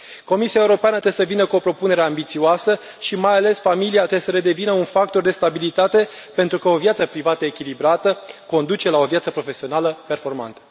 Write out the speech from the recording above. Comisia Europeană să vină cu o propunere ambițioasă și, mai ales, familia trebuie să redevină un factor de stabilitate pentru că o viață privată echilibrată conduce la o viață profesională performantă.